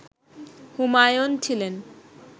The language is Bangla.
হুমায়ুন ছিলেন